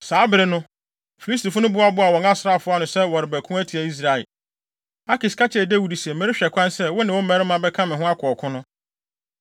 Saa bere no, Filistifo no boaboaa wɔn asraafo ano sɛ wɔrebɛko atia Israel. Akis ka kyerɛɛ Dawid se, “Merehwɛ kwan sɛ, wo ne wo mmarima bɛka me ho akɔ ɔko no.”